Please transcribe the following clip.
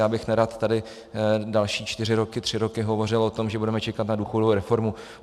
Já bych nerad tady další čtyři roky, tři roky hovořil o tom, že budeme čekat na důchodovou reformu.